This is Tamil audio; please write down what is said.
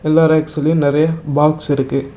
எல்லா ரேக்ஸ்லையும் நிறைய பாக்ஸ் இருக்கு.